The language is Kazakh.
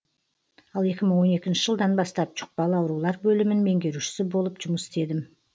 ал екі мың он екінші жылдан бастап жұқпалы аураулар бөлімін меңгерушісі болып жұмыс істедім